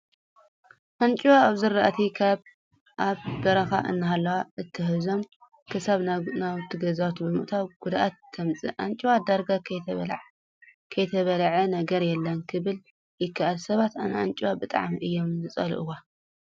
ኣንጭዋ ኣብ ዝራእቲ ካብ ኣብ በረካ እናሃለዉ ኣትሂዞም ክሳብ ናብ ገዛውቲ ብምውታው ጉድዓት ተምፅእ። ኣንጭዋ ዳርጋ ዘይትበልዖ ነገር የለን ክበሃል ይክእል። ሰባት ንኣንጭዋ ብጣዕሚ እዮም ዝፀልእዋ።